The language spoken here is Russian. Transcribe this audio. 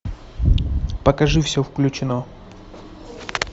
покажи все включено